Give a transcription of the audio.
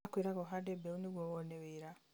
makwĩraga ũhande mbeũ nĩguo wone wĩra